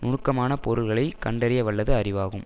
நுணுக்கமான பொருள்களை கண்டறிய வல்லது அறிவாகும்